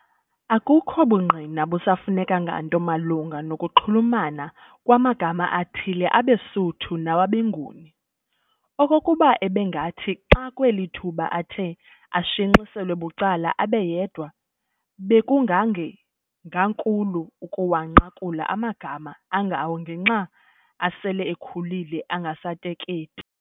Akukho bungqina busafuneka nganto malunga noku kunxulumana kwamagama athile abeSuthu nawabeNguni. Okokuba ebengathi xaakweli thuba akhe ashenxiselwe bucala abe yedwa, bekungangenkankulu ukuwanqakula amagama angawo ngexa asel'ekhulile engasateketi.